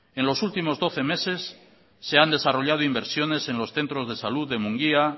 en los últimos doce meses se han desarrollado inversiones en los centros de salud de mungia